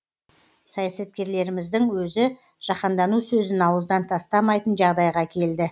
саясаткерлеріміздің өзі жаһандану сөзін ауыздан тастамайтын жағдайға келді